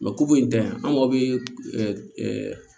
ku in tɛ an mago bɛ